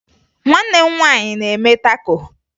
Nwanne m nwaanyị na-eme tako